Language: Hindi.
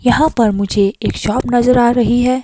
यहां पर मुझे एक शॉप नजर आ रही है।